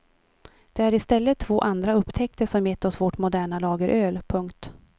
Det är i stället två andra upptäckter som gett oss vårt moderna lageröl. punkt